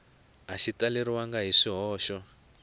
a xi talelangi hi swihoxo